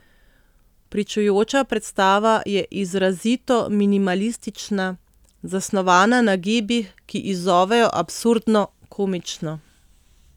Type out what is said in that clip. Pričujoča predstava je izrazito minimalistična, zasnovana na gibih, ki izzovejo absurdno, komično.